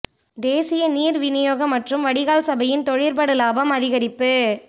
தேசிய நீர் விநியோக மற்றும் வடிகால் சபையின் தொழிற்படு இலாபம் அதிகரி்ப்பு